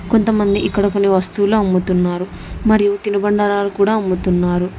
కొంతమంది ఇక్కడ కొన్ని వస్తువులు అమ్ముతున్నారు మరియు తినుబండారాలు కూడా అమ్ముతున్నారు